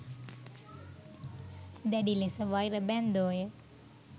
දැඩිලෙස වෛර බැන්දෝය.